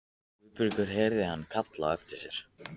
Guðbergur heyrði hann kallað á eftir sér.